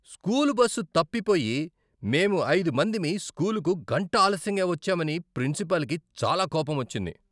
School bus తప్పిపోయి, మేం ఐదు మందిమి స్కూలుకు గంట ఆలస్యంగా వచ్చామని ప్రిన్సిపాల్కి చాలా కోపమొచ్చింది.